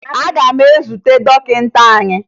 Aga m ezute dọkịta anyị